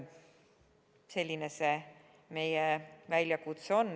Selline see meie väljakutse on.